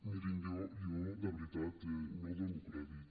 mirin jo de veritat no dono crèdit